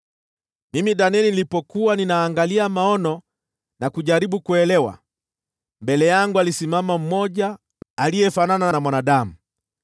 Mimi Danieli nilipokuwa ninaangalia maono na kujaribu kuelewa, mbele yangu alisimama mmoja aliyefanana na mwanadamu.